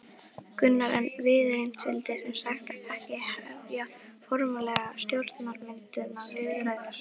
Gunnar: En Viðreisn vildi sem sagt ekki hefja formlegar stjórnarmyndunarviðræður?